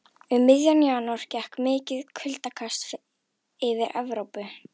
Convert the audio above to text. Um miðjan janúar gekk mikið kuldakast yfir Evrópu.